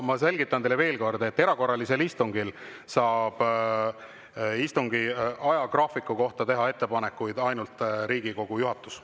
Ma selgitan teile veel kord: erakorralisel istungil saab istungi ajagraafiku kohta teha ettepanekuid ainult Riigikogu juhatus.